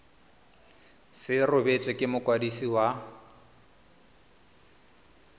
se rebotswe ke mokwadisi wa